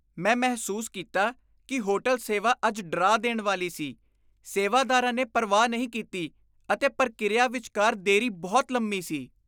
ਮੈਂ ਮਹਿਸੂਸ ਕੀਤਾ ਕਿ ਹੋਟਲ ਸੇਵਾ ਅੱਜ ਡਰਾ ਦੇਣ ਵਾਲੀ ਸੀ। ਸੇਵਾਦਾਰਾ ਨੇ ਪਰਵਾਹ ਨਹੀਂ ਕੀਤੀ ਅਤੇ ਪ੍ਰਕਿਰਿਆ ਵਿਚਕਾਰ ਦੇਰੀ ਬਹੁਤ ਲੰਮੀ ਸੀ।